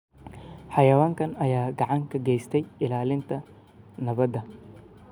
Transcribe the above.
Xayawaankan ayaa gacan ka geysta ilaalinta nabadda.